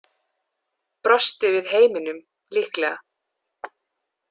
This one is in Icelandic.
Brosti við heiminum, líklega.